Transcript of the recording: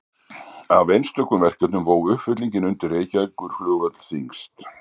Af einstökum verkefnum vó uppfyllingin undir Reykjavíkurflugvöll þyngst.